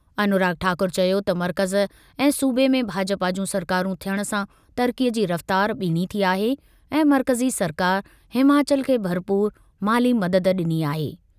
अनुराग ठाकुर चयो त मर्कज़ ऐं सूबे में भाजपा जूं सरकारूं थियण सां तरक़ीअ जी रफ़्तार ॿीणीं थी आहे ऐं मर्कज़ी सरकार हिमाचल खे भरपूर माली मदद ॾिनी आहे।